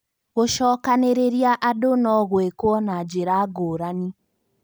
Gũcokanĩrĩria andũ no gwĩkwo na njĩra ngũrani